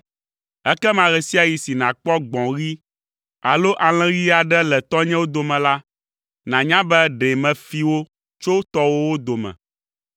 Ekema ɣe sia ɣi si nàkpɔ gbɔ̃ ɣi alo alẽ ɣi aɖe le tɔnyewo dome la, nànya be ɖe mefi wo tso tɔwòwo dome!”